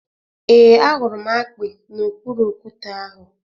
Ee, ahụrụ m akpi n’okpuru okwute ahụ